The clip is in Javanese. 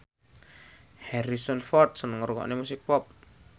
Harrison Ford seneng ngrungokne musik pop